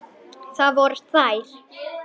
Það voru þeir